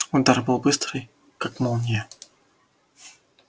удар был быстрый как молния